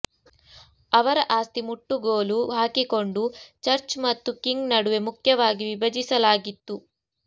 ಅವರ ಆಸ್ತಿ ಮುಟ್ಟುಗೋಲು ಹಾಕಿಕೊಂಡು ಚರ್ಚ್ ಮತ್ತು ಕಿಂಗ್ ನಡುವೆ ಮುಖ್ಯವಾಗಿ ವಿಭಜಿಸಲಾಗಿತ್ತು